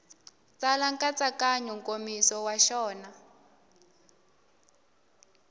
tsala nkatsakanyo nkomiso wa xona